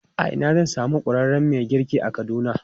A ina zan samu ƙwararren mai girki a Kaduna?